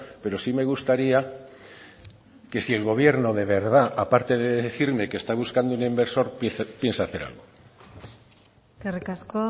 pero sí me gustaría que si el gobierno de verdad a parte de decirme que está buscando un inversor piensa hacer algo eskerrik asko